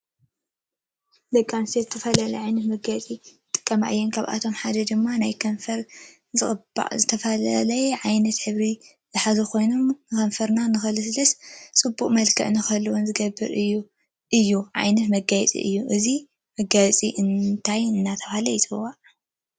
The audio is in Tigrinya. ደቂ አንስትዮ ዝተፈላለየ ዓይነት መጋየፂ ይጥቀማ እየን ካብአቶም ሓደ ድማ ናየ ከንፈር ዝቅባእ ብዝተፈላለዩ ዓይነት ሕብሪ ዝሓዘ ኮይኑ ከንፈርካ ንክልስልስን ፅብቅ መልክዕ ንክህብና ዝገብር እዩ ዓየነት መጋየፂ እዩ። እዚ ማጋየፂ እንታይ እናተባህለ ይፅዋዕ?